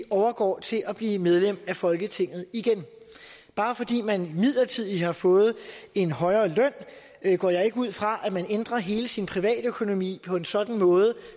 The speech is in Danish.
overgår til at blive medlem af folketinget bare fordi man midlertidigt har fået en højere løn går jeg ikke ud fra at man ændrer hele sin privatøkonomi på en sådan måde